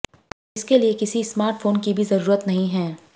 इसके लिए किसी स्मार्ट फोन की भी जरुरत नहीं है